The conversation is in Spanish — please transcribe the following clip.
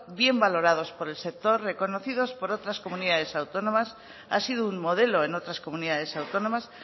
bien valorados por el sector reconocidos por otras comunidades autónomas ha sido un modelo en otras comunidades autónomas